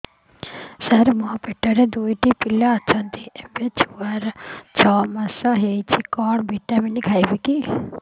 ସାର ମୋର ପେଟରେ ଦୁଇଟି ପିଲା ଅଛନ୍ତି ଏବେ ଛଅ ମାସ ହେଇଛି କଣ ଭିଟାମିନ ଖାଇବି